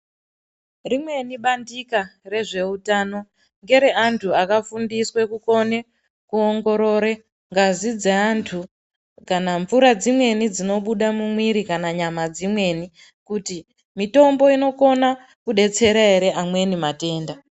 Rimweni bandika rezvehutano, ngere antu akafundiswe kukone kuwongorore ngazi dze antu kana mvura dzimweni dzinobuda mumwiri kana nyama dzimweni, kuti mitombo inokona kudetsera here amweni matenda.